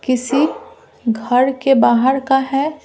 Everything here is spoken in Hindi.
किसी घर के बाहर का है।